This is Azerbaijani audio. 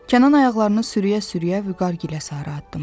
Kənan ayaqlarını sürüyə-sürüyə Vüqar gilə sarı addımlayır.